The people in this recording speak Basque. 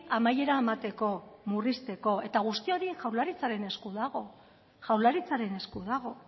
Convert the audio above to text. amaiera emateko murrizteko eta guzti hori jaurlaritzaren esku dago jaurlaritzaren esku dago